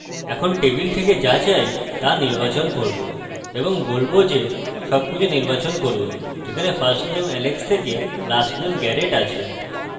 এখন টেবিল থেকে যা চাই তা নির্বাচন করব এবং বলবো যে সবকিছু নির্বাচন করুন যেখানে firstname alex থেকে lastname garret আছে